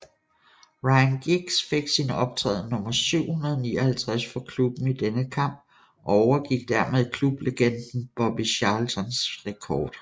Ryan Giggs fik sin optræden nummer 759 for klubben i denne kamp og overgik dermed klublegenden Bobby Charltons rekord